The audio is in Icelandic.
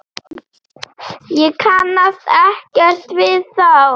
Ég kannast ekkert við þá.